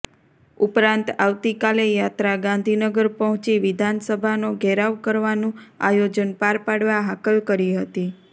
ઉપરાંત આવતીકાલે યાત્રા ગાંધીનગર પહોંચી વિધાનસભાનો ઘેરાવ કરવાનું આયોજન પાર પાડવા હાકલ કરી હતી